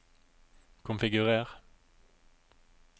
konfigurer